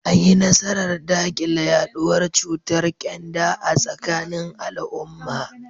An yi nasarar dakile yaduwar cutar kyanda a tsakanin al’umma.